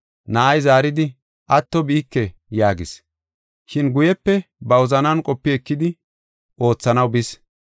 Na7ay zaaridi, ‘Atto biike’ yaagis. Shin guyepe ba wozanan qopi ekidi oothanaw bis.